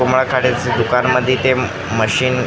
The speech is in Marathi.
उमा खाडेच्या दुकानमध्ये ते मशीन --